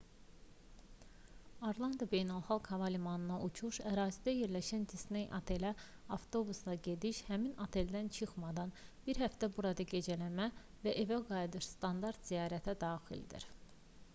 orlando beynəlxalq hava limanına uçuş ərazidə yerləşən disney otelinə avtobusla gediş həmin oteldən çıxmadan bir həftə burada gecələmə və evə qayıdış standart ziyarətə daxildir